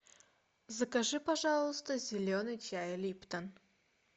закажи пожалуйста зеленый чай липтон